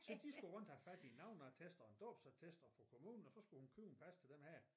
Så de skulle rundt og have fat i en navneattest og en dåbsattest og på kommunen og så skulle hun købe et pas til den her